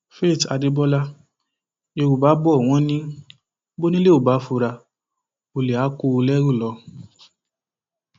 faith adébọlá yorùbá bò wọn ní bònílé ò bá fura ọlẹ àá kó o lẹrú lọ